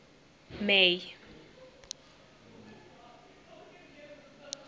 may